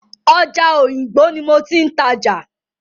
Ọjà Òyìngbò ní mo ti ń tajà.